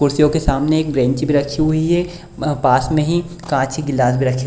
कुर्सियों के सामने एक ब्रेंच भी रखी हुई है। पास में ही कांच के गिलास भी रखे हुए --